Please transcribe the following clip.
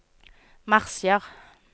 marsjer